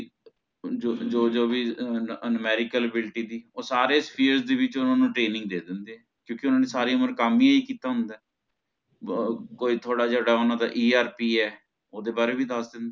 ਜੋ ਜੋ ਵੀ ਉਨ੍ ਉਨ੍ਮਾਰ੍ਰਿਕ੍ਲ ਵਿਲ੍ਤੀ ਦੀ ਓਹ ਸਾਰੇ surfair ਦੇ ਵਿੱਚ ਓਹਨਾ ਨੂ Training ਦੇ ਦਿੰਦੇ ਹੈ ਕ੍ਯੁਕੀ ਓਹਨਾ ਨੇ ਸਾਰੀ ਉਮਰ ਕਾਮ ਹੀ ਆਹੀ ਕੀਤਾ ਹੋਂਦਾ ਆਹ ਕੋਈ ਥੋੜਾ ਜੇਹਾ Down ਹੈ ਤਾ ERP ਹੈ ਓਹਦੇ ਬਾਰੇ ਵੀ ਦਸ ਦਿੰਦੇ